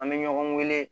An bɛ ɲɔgɔn wele